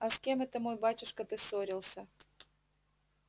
а с кем это мой батюшка ты ссорился